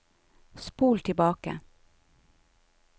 spol tilbake